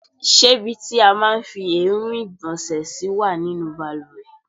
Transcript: Ṣé ibi tí a máa ń fi èérún ìgbọ̀nsẹ̀ sí wà nínú bàlùwẹ̀?